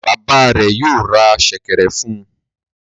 Bàbá rẹ̀ yóò ra ṣẹ̀kẹ̀rẹ̀ fún un.